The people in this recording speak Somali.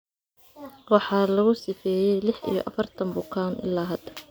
Waxaa lagu sifeeyay lix iyo afartan bukaan ilaa hada.